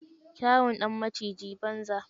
Kyawun ɗan maciji, banza.